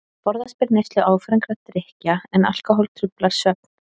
Forðast ber neyslu áfengra drykkja, en alkóhól truflar svefn.